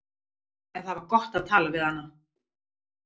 En það var gott að tala við hana.